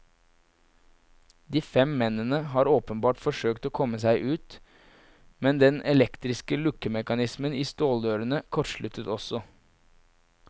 De fem mennene har åpenbart forsøkt å komme seg ut, men den elektriske lukkemekanismen i ståldørene kortsluttet også.